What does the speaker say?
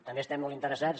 també estem molt interessats